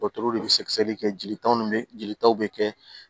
Dɔtɛriw de bɛ sɛgɛsɛgɛli kɛ jelitaw ni jelitaw bɛ kɛ